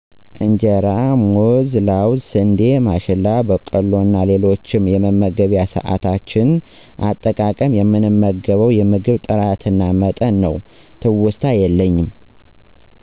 እንጀራ: ሙዝ : ለውዝ : ስንዴ ማሽላ :በቆሎ እና ሌሎችም የመመገቢያ ሰዓታችን አጠቃቀም :የምንመገበው የምግብ ጥራትና መጠን ነው። ትውስታ የለኝም